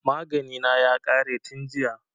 Magani na ya ƙare tin jiya